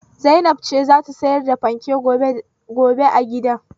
Zainab ce za ta sayar da fanken gobe a gidan.